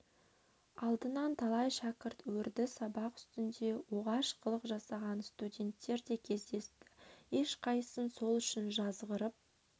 алдынан талай шәкірт өрді сабақ үстінде оғаш қылық жасаған студенттер де кездесті ешқайсысын сол үшін жазғырып